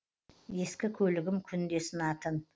ескі көлігім күнде сынатын